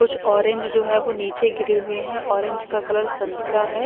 कुछ ऑरेंज जो है वो नीचे गिरे हुए हैं ऑरेंज का कलर संतरा है।